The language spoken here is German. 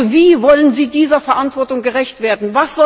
Also Wie wollen Sie dieser Verantwortung gerecht werden?